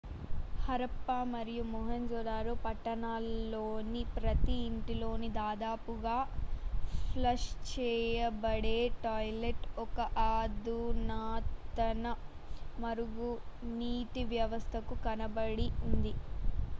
హరప్పా మరియు మొహంజొదారో పట్టణాల్లోని ప్రతి ఇంటిలోనూ దాదాపుగా ఫ్లష్ చేయబడే టాయిలెట్ ఒక అధునాతన మురుగునీటి వ్యవస్థకు కలపబడి ఉంది